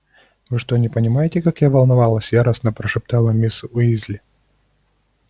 вы что не понимаете как я волновалась яростно прошептала мисс уизли